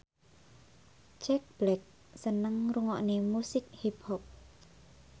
Jack Black seneng ngrungokne musik hip hop